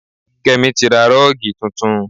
Kémi tí ra rọ́ọ̀gì tuntun